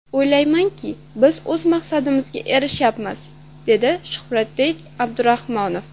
O‘ylaymanki, biz o‘z maqsadimizga erishayapmiz”, dedi Shuhratbek Abdurahmonov.